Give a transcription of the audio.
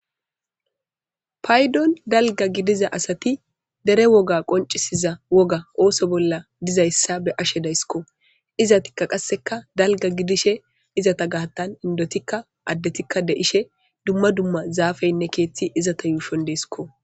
paydon dalga gidiza asati dere woga qoncisiza woga ooso bolla dizayssa be ashe dayssikko izatikka qasseka dalga gidishe izata gaattan indotikka addetikka de ishe dumma dumma zaafeynne keetti izata yuushon deesiko